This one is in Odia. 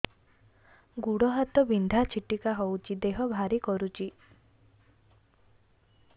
ଗୁଡ଼ ହାତ ବିନ୍ଧା ଛିଟିକା ହଉଚି ଦେହ ଭାରି କରୁଚି